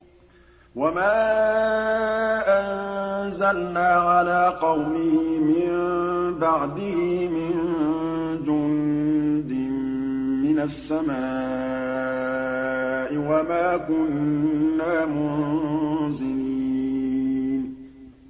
۞ وَمَا أَنزَلْنَا عَلَىٰ قَوْمِهِ مِن بَعْدِهِ مِن جُندٍ مِّنَ السَّمَاءِ وَمَا كُنَّا مُنزِلِينَ